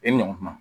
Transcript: E ɲɔgɔn kuma